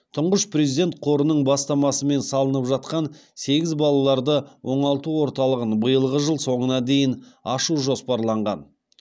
тұңғыш президент қорының бастамасымен салынып жатқан сегіз балаларды оңалту орталығын биылғы жыл соңына дейін ашу жоспарланған